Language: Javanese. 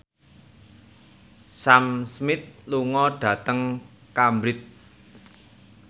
Sam Smith lunga dhateng Cambridge